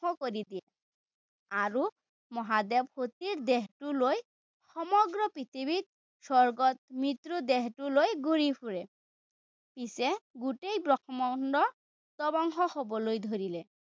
ধ্বংস কৰি দিয়ে। আৰু মহাদেৱ সতীৰ দেহটোলৈ সমগ্ৰ পৃথিৱীত স্বৰ্গত মৃত দেহটোলৈ ঘুৰি ফুৰে। পিছে গোটেই বিশ্ব-ব্ৰক্ষ্মাণ্ড ত্ৰাহিমাংস হবলৈ ধৰিলে।